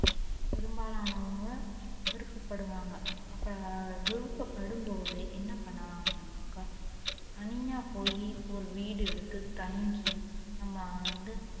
பெரும்பாலானவங்க விருப்பப்படுவாங்க அப்ப விருப்பப்படும்போது என்ன பண்ணலாம் அப்டினாக்க தனியா போயி ஒரு வீடு எடுத்து தங்கி நம்ம வந்து